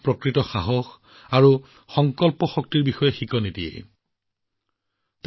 প্ৰকৃত সাহস কি আৰু নিজৰ সংকল্পত অটল থকাৰ অৰ্থ কি সেই বিষয়ে আমি তেওঁৰ জীৱনৰ পৰা শিকিব পাৰোঁ